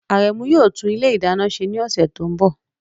Aremu yóò tún ilé ìdáná ṣe ní ọ̀sẹ̀ tó ń bọ̀.